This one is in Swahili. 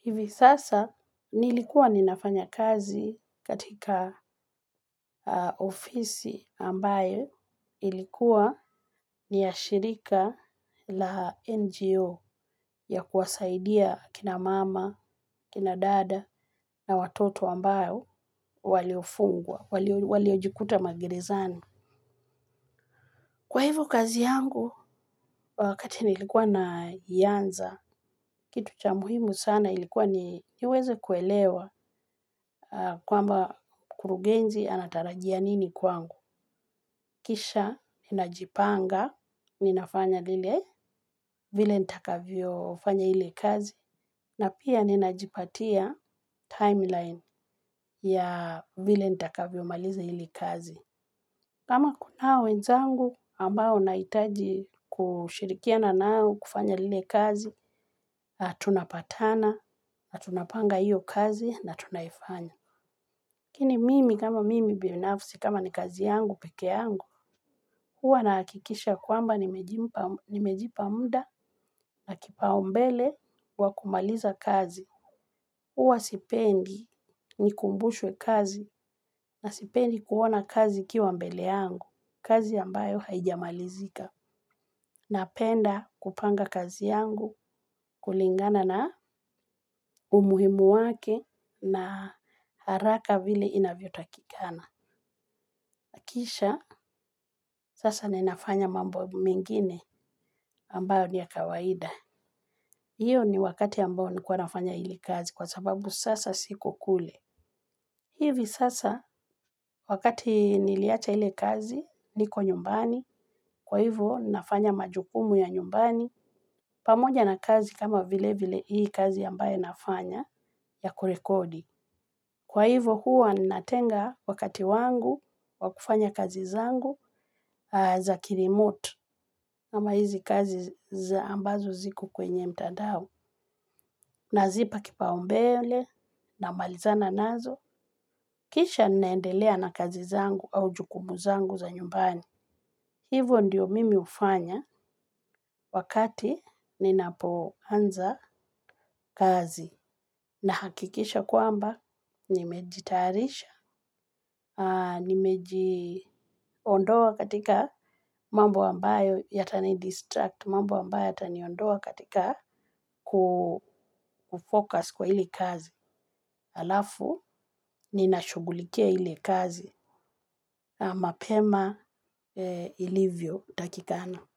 Hivi sasa nilikuwa ninafanya kazi katika ofisi ambayo ilikuwa ni ya shirika la NGO ya kuwasaidia kina mama, kina dada na watoto ambao waliofungwa, waliojikuta magerezani. Kwa hivyo kazi yangu, wakati nilikuwa na ianza, kitu cha muhimu sana ilikuwa niweze kuelewa kwamba kurugenzi anatarajia nini kwangu. Kisha, ninajipanga, ninafanya lile, vile nitakavyo fanya ile kazi, na pia ninajipatia timeline ya vile nitakavyo maliza ile kazi. Kama kunao wenzangu ambao na hitaji kushirikia na nao kufanya lile kazi, tunapatana, na tunapanga hiyo kazi, na tunaifanya. Lakini mimi kama mimi binafsi kama ni kazi yangu, pekee yangu, huwa na hakikisha kwamba nimejipa muda na kipau mbele wa kumaliza kazi. Huwa sipendi ni kumbushwe kazi na sipendi kuona kazi ikiwa mbele yangu, kazi ambayo haijamalizika. Napenda kupanga kazi yangu kulingana na umuhimu wake na haraka vile inavyo takikana. Nakisha sasa ninafanya mambo mengine ambayo ni ya kawaida. Iyo ni wakati ambayo nilikuwa nafanya ile kazi kwa sababu sasa siko kule. Hivi sasa wakati niliacha ile kazi niko nyumbani kwa hivo nafanya majukumu ya nyumbani. Pamoja na kazi kama vile vile hii kazi ambayo nafanya. Ya kurekodi. Kwa hivyo huwa ninatenga wakati wangu wakufanya kazi zangu za ki remote. Kama hizi kazi ambazo ziko kwenye mtandao. Na zipa kipa umbele na malizana nazo. Kisha ninaendelea na kazi zangu au jukumu zangu za nyumbani. Hivyo ndiyo mimi hufanya wakati ninapoanza kazi. Na hakikisha kwamba nimejiyatarisha, nimejiondoa katika mambo ambayo yata ni distract, mambo ambayo yata niondoa katika kufocus kwa hili kazi. Alafu ninashughulikia ile kazi mapema ilivyotakikana.